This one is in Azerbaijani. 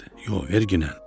"Yox, verginnən.